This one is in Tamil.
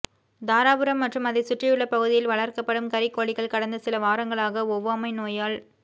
தாராபுரம் மற்றும் அதைச் சுற்றியுள்ள பகுதியில் வளர்க்கப்படும் கறிக்கோழிகள் கடந்த சில வாரங்களாக ஒவ்வாமை நோயால்